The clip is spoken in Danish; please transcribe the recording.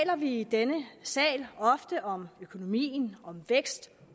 at vi i denne sal ofte taler om økonomien om vækst